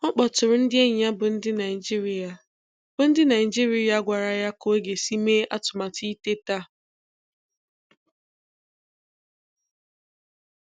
Ọ kpọtụụrụ ndị enyi ya bụ ndị Naijiria bụ ndị Naijiria gwara ya ka ọ ga-esi mee atụmatụ iteta.